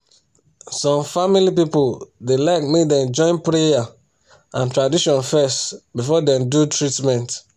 some family people da like make dem join prayer and tradition fes before dem do treatment